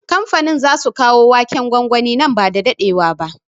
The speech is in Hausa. Kamfanin zasu kawo waken gwangwani nan ba da daɗewa ba